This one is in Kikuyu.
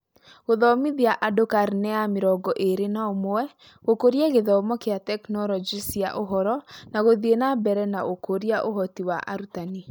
Gũthomithia andũ karine ya mĩrongo ĩĩrĩ na ũmwe, gũkũria gĩthomo kĩa tekinoronjĩ cia ũhoro, na gũthiĩ na mbere na ũkũria ũhoti wa arutani.